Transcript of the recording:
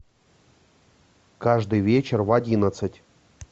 каждый вечер в одиннадцать